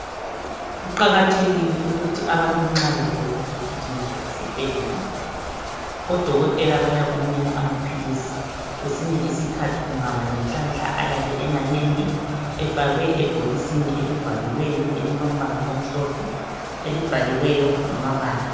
Kuqakathekile ukuthi abantu nxa begula bagijimele esibhedlela odokotela bayakunika amaphilisi kwesinye isikhathi ungaba lenhlanhla ayabe emanengi efakwe ebhokisini elivaliweyo elilombala omhlophe, elibhaliweyo ngamabala.